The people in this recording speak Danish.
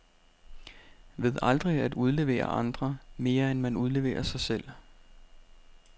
Ved aldrig at udlevere andre, mere end man udleverer sig selv.